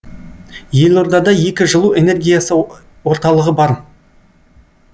елордада екі жылу энергиясы орталығы бар